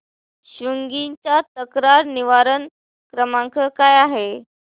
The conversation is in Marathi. स्वीग्गी चा तक्रार निवारण क्रमांक काय आहे